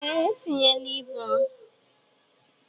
Ee, etinye la ịbụ m.